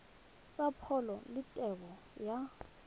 tsa pholo le tebo ya